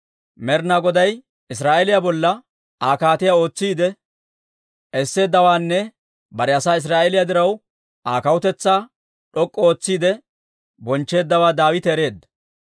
Med'inaa Goday Israa'eeliyaa bolla Aa kaatiyaa ootsiide esseeddawaanne bare asaa Israa'eeliyaa diraw, Aa kawutetsaa d'ok'k'u ootsiide bonchcheeddawaa Daawite ereedda.